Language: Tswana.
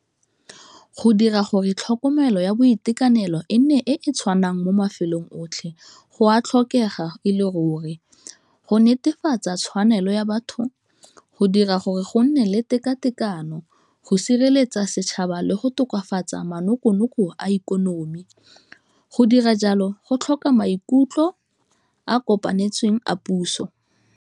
Ka go dira gore tlhokomelo ya boitekanelo e nne e e tshwanang mo mafelong otlhe go a tlhokega e le ruri, go netefatsa tshwanelo ya batho, go dira gore go go nne le tekatekano, go sireletsa setšhaba le go tokafatsa manokonoko a ikonomi, go dira jalo go tlhoka maikutlo a kopanetsweng a puso.